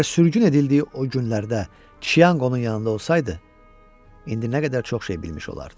Əgər sürgün edildiyi o günlərdə Chiang onun yanında olsaydı, indi nə qədər çox şey bilmiş olardı.